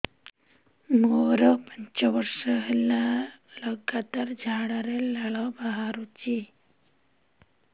ମୋରୋ ପାଞ୍ଚ ବର୍ଷ ହେଲା ଲଗାତାର ଝାଡ଼ାରେ ଲାଳ ବାହାରୁଚି